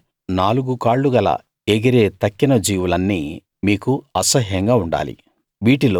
అయితే నాలుగు కాళ్లు గల ఎగిరే తక్కిన జీవులన్నీ మీకు అసహ్యంగా ఉండాలి